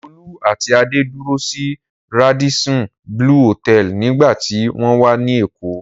Olú àti Adé dúró sí Radisson Blu Hòtẹ́ẹ́lì nígbà tí wọ́n wá ní Èkó.